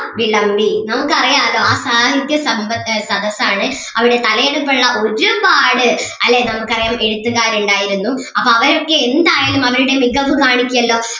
വിളമ്പി നമുക്ക് അറിയാല്ലോ ആ സാഹിത്യ സമ്പ ആഹ് സദസ്സ് ആണ് അവിടെ തലയെടുപ്പുള്ള ഒരുപാട് അല്ലേ നമുക്ക് അറിയാം എഴുത്തുകാരുണ്ടായിരുന്നു അപ്പം അവരൊക്കെ എന്തായാലും അവരുടെ മികവ് കാണിക്കുവല്ലോ